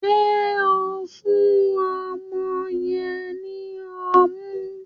Ṣe o n fún ọmọ yen ní ọmu?